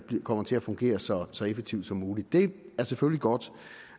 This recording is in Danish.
kommer til at fungere så så effektivt som muligt det er selvfølgelig godt